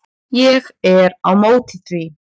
Ég er á móti því.